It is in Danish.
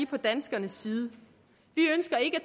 på danskernes side